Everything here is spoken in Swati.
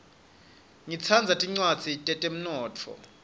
ngitsandza tincwadzi tetemnotfo